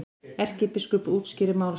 Erkibiskup útskýrir mál sitt